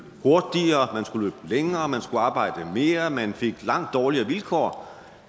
hurtigere man skulle længere man skulle arbejde mere man fik langt dårligere vilkår